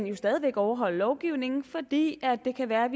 jo stadig væk overholde lovgivningen fordi det kan være at